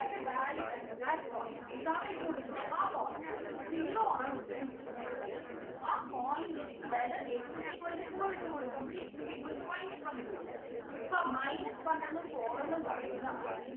അതിൻ്റെ value at that point ഏതാണോ ഇട്ടു കൊടുക്കുന്നെ ആ point ൽ zero ആണ് ഉത്തരം കിട്ടുന്നെ എങ്കിൽ ആ point നെ അതായത് x is equal to four ഇട്ടു കൊടുക്കുമ്പോഴും x is equal to minus one ഇട്ടു കൊടുത്താ മതി അപ്പൊ minus one എന്നും four ന്നും പറയുന്ന ആണ്